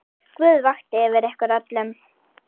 Guð vaki yfir ykkur öllum.